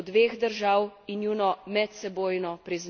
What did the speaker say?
Edino to bo jamstvo za mir na Bližnjem vzhodu.